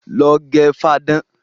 Lọ gẹ fáadán!